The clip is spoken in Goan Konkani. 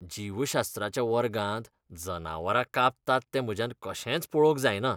जीवशास्त्राच्या वर्गांत जनावरां कापतात तें म्हज्यान कशेंच पळोवंक जायना.